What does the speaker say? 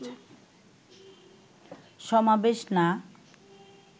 সমাবেশ না